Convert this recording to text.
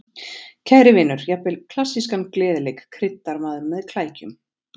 Kæri vinur, jafnvel klassískan gleðileik kryddar maður með klækjum